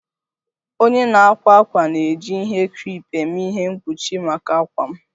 Onye na-akwa akwa na-eji ihe creepe eme ihe mkpuchi maka akwa m